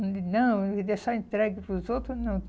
Não, e deixar entregue para os outros, não.